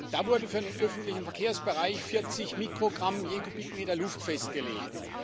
Da wurde für den öffentlichen Verkehrsbereich 40 Mikrogramm je Kubikmeter Luft festgelegt.